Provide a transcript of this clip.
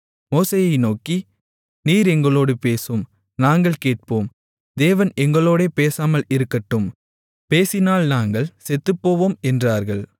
மோசேயை நோக்கி நீர் எங்களோடு பேசும் நாங்கள் கேட்போம் தேவன் எங்களோடே பேசாமல் இருக்கட்டும் பேசினால் நாங்கள் செத்துப்போவோம் என்றார்கள்